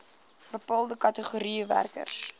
bepaalde kategorieë werkers